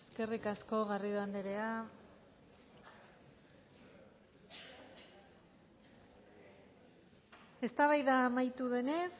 eskerrik asko garrido andrea eztabaida amaitu denez